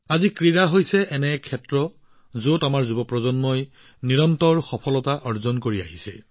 আজি ক্ৰীড়া এনে এটা ক্ষেত্ৰ যত আমাৰ যুৱকযুৱতীসকলে অবিৰতভাৱে নতুন নতুন সফলতা লাভ কৰি আছে